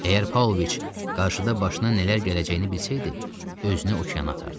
Əgər Pauloviç qarşıda başına nələr gələcəyini bilsəydi, özünü okeana atardı.